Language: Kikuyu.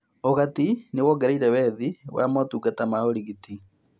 Ũgati nĩwongereire wethi wa motungata ma ũrigiti